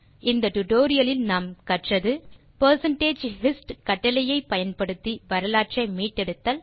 இந்த டியூட்டோரியல் லில் நாம் கற்றது percentage hist கட்டளையை பயன்படுத்தி வரலாற்றை மீட்டெடுத்தல்